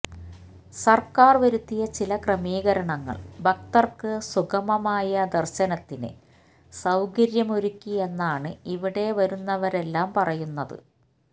സര്ക്കാര് വരുത്തിയ ചില ക്രമീകരണങ്ങള് ഭക്തര്ക്ക് സുഗമമായ ദര്ശനത്തിന് സൌകര്യമൊരുക്കിയെന്നാണ് ഇവിടെ വരുന്നവരെല്ലാം പറയുന്നത്